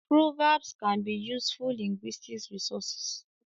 Proverbs can be useful linguistic resources